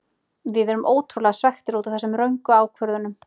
Við erum ótrúlega svekktir útaf þessum röngu ákvörðunum.